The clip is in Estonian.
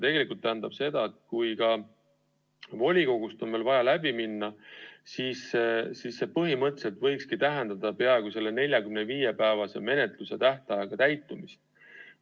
See tähendab seda, et kui ka veel volikogust on vaja läbi minna, siis see põhimõtteliselt võikski tähendada peaaegu selle 45‑päevase menetlustähtaja täitumist.